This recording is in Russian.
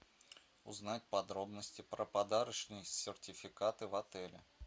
узнать подробности про подарочные сертификаты в отеле